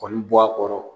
Kɔni bɔ a kɔrɔ